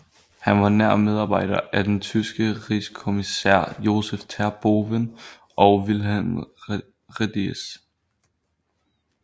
Han var nær medarbejder af den tyske rigskommissær Josef Terboven og Wilhelm Rediess